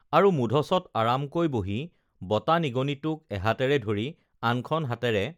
আৰু মূধচত আৰামকৈ বহি বতা নিগনিটোক এহাতেৰে ধৰি আনখন হাতেৰে